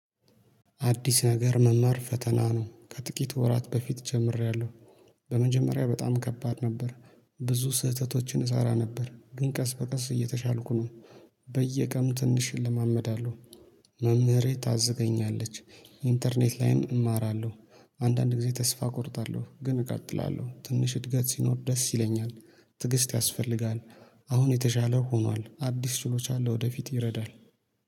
አዲስ ነገር መማር ፈተና ነው ከጥቂት ወራት በፊት ጀምሬያለሁ። በመጀመሪያ በጣም ከባድ ነበር። ብዙ ስህተቶችን እሰራ ነበር ግን ቀስ በቀስ እየተሻልኩ ነው። በየቀኑ ትንሽ እለማመዳለሁ። መምህሬ ታዘገኛለች ኢንተርኔት ላይም እማራለሁ። አንዳንድ ጊዜ ተስፋ እቆርጣለሁ ግን እቀጥላለሁ ትንሽ እድገት ሲኖር ደስ ይለኛል። ትግስት ያስፈልጋል። አሁን የተሻለ ሆኗል አዲስ ችሎች አለ ወደፊት ይረዳል